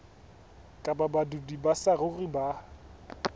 kapa badudi ba saruri ba